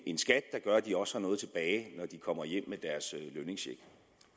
en skat der gør at de også har noget tilbage når de kommer